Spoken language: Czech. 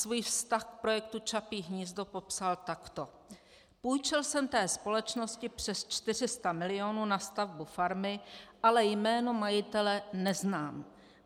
Svůj vztah k projektu Čapí hnízdo popsal takto: Půjčil jsem té společnosti přes 400 mil. na stavbu farmy, ale jméno majitele neznám.